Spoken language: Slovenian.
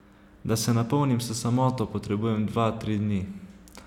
Da se napolnim s samoto, potrebujem dva, tri dni.